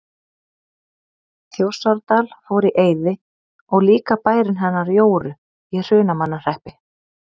Þjórsárdal fór í eyði og líka bærinn hennar Jóru í Hrunamannahreppi.